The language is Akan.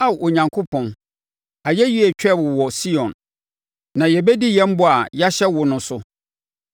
Ao, Onyankopɔn, ayɛyie retwɛn wo wɔ Sion, na yɛbɛdi yɛn bɔ a yɛahyɛ wo no so.